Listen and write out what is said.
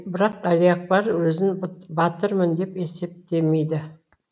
бірақ әлиакбар өзін батырмын деп есептемейді